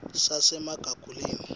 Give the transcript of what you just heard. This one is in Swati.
sasemagugeleni